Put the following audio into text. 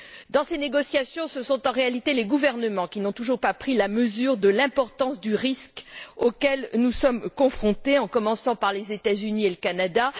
Dans ces négociations, ce sont en réalité les gouvernements qui n'ont toujours pas pris la mesure de l'importance du risque auquel nous sommes confrontés, en commençant par les États Unis et le Canada.